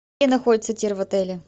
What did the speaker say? где находится тир в отеле